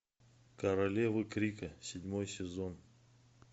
королевы крика седьмой сезон